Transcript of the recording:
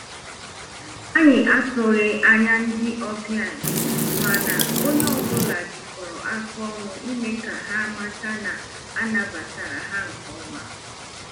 Anyị atụghị anya ndị ọbịa, mana onye ọ bụla jikọrọ aka ọnụ ime ka ha mata na a nabatara ha nke ọma